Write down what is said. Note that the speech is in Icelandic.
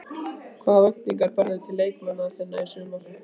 Hvaða væntingar berðu til leikmanna þinna í sumar?